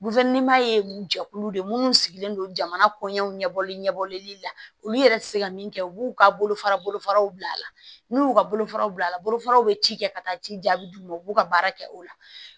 ye jɛkulu de ye minnu sigilen don jamana kɔɲɛw ɲɛbɔli ɲɛbɔlen na olu yɛrɛ tɛ se ka min kɛ u b'u ka bolofara bolofaraw bila a la n'u y'u ka bolofaraw bila bolofaraw bɛ ci kɛ ka taa ci jaabi d'u ma u b'u ka baara kɛ o la